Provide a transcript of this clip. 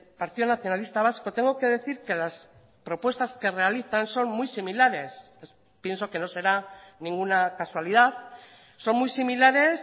partido nacionalista vasco tengo que decir que las propuestas que realizan son muy similares pienso que no será ninguna casualidad son muy similares